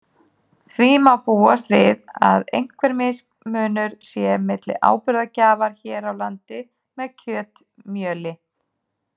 Því má búast við að einhver mismunur sé milli áburðargjafar hér á landi með kjötmjöli.